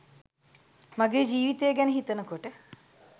මගේ ජීවිතය ගැන හිතන කොට